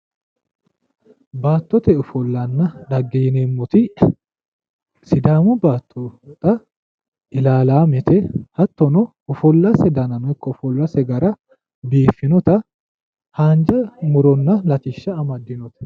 Baattote ofollanna dhagge yineemmoti, sidaamu baatto xaa ilaalaamete hattono ofollase dananno ikko gara biiffinota haanja muronna latishsha amaddinote